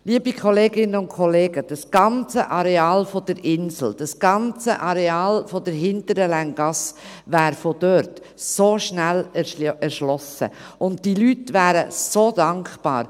Liebe Kolleginnen und Kollegen, das ganze Areal der Insel, das ganze Areal der hinteren Länggasse, wäre von dort so schnell erschlossen, und diese Leute wären so dankbar.